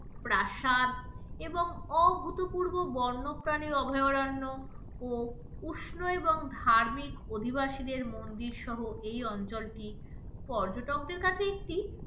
প্রাসাদ এবং অভূতপূর্ব বন্যপ্রাণীর অভয়ারান্য ও উষ্ণ এবং ধার্মিক অধিবাসিদের মন্দির সহ এই অঞ্চলটি পর্যটকদের কাছে একটি,